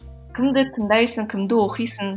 кімді тыңдайсың кімді оқисың